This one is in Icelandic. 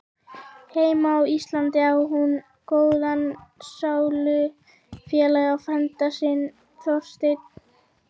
Heima á Íslandi á hún góðan sálufélaga, frænda sinn Þorstein